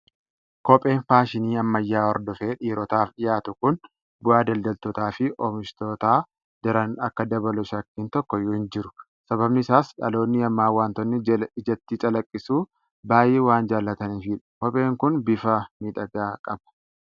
Kopheen faashinii ammayyaa hordofee dhiirotaaf dhiyaatu kun bu'aa daldaltootaa fi oomishtootaa daran akka dabalu shakkiin tokkoyyuu hin jiru. Sababni isaas dhaloonni ammaa waantota ijatti calaqqisu baay'ee waan jaalataniifidha. Kopheen kun bifa miidhagaa qaba!